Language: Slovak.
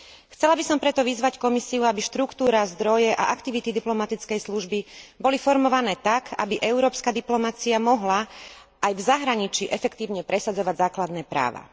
Chcela by som preto vyzvať Komisiu, aby štruktúra, zdroje a aktivity diplomatickej služby boli formované tak, aby európska diplomacia mohla aj v zahraničí efektívne presadzovať základné práva.